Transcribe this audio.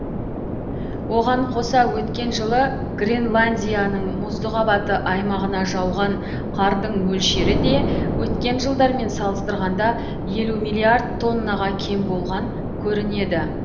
оған қоса өткен жылы гренландияның мұзды қабаты аймағына жауған қардың мөлшері де өткен жылдармен салыстырғанда елу миллиард тоннаға кем болған көрінеді